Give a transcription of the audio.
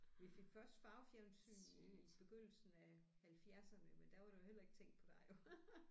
Vi fik først farvefjernsyn i begyndelsen af halvfjerdserne men der var der jo heller ikke tænkt på dig jo